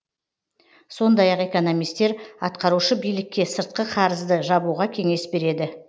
сондай ақ экономистер атқарушы билікке сыртқы қарызды жабуға кеңес береді